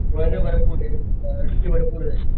भरपरे किंवा भरपुरे